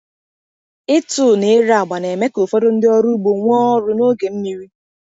Ịtụ na ire agba na-eme ka ụfọdụ ndị ọrụ ugbo nwee ọrụ n’oge mmiri.